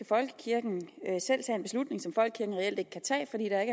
folkekirken reelt ikke kan tage fordi der